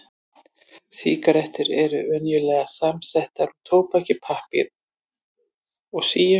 Sígarettur eru venjulega samsettar úr tóbaki, pappír og síu.